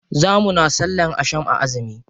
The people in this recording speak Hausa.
Za muna sallan asham a azumi.